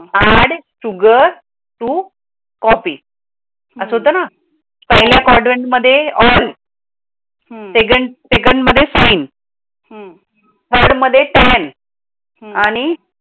add sugar to copy अस होत ना? पहेलय quadrant मध्ये all second मध्य सैन हम्म थर्ड मध्य सेवेन हम्म